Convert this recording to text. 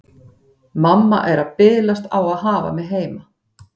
Mamma er að bilast á að hafa mig heima.